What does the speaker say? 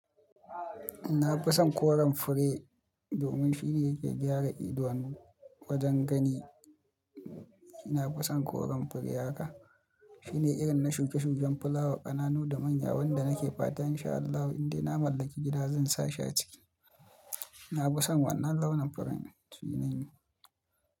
Na fi son koren fure domin shine yake gyara idanu wajen gani. Ina fison koren fure haka. Shine irin na shuke-shuken fulawa, ƙananu da manya wanda nake fatan insha Allahu indai na mallaki gida zan sa shi a ciki. Na fison wannan launin furen shine.